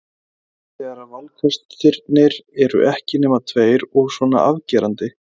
Hressandi þegar valkostirnir eru ekki nema tveir og svona afgerandi.